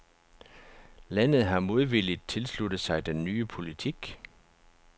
Landet har modvilligt tilsluttet sig den nye politik.